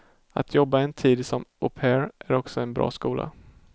Att jobba en tid som au pair är också en bra skola.